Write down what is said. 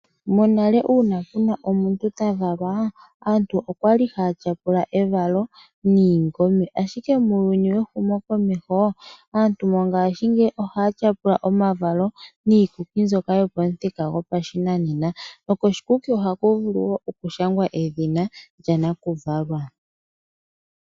Monale uuna pu na omuntu ta valwa, aantu okwali haya tyapula evalo niikwiila. Ashike muuyuni wehumokomeho aantu ohaya tyapula omavalo niikuki mbyoka yopamuthika gopashinanena. Nokoshikuki ohaku vulu okushangwa edhina lya nakuvalwa.